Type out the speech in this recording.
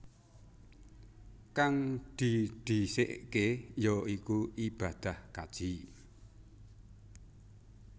Kang didhisikké ya iku ibadah kaji